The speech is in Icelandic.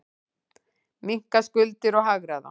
Minnka skuldir og hagræða.